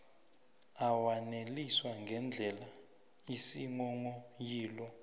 awaneliswa ngendlela isinghonghoyilo